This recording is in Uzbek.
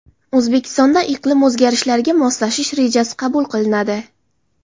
O‘zbekistonda iqlim o‘zgarishlariga moslashish rejasi qabul qilinadi.